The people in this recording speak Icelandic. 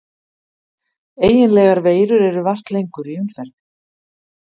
Eiginlegar veirur eru vart lengur í umferð.